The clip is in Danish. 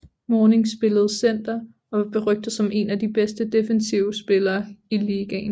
Mourning spillede Center og var berygtet som en af de bedste defensive spillere i ligaen